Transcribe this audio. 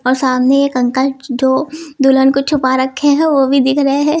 सामने एक अंकल जो दुल्हन को छुपा रखे हैं ओ भी दिख रहे हैं।